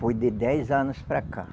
Foi de dez anos para cá.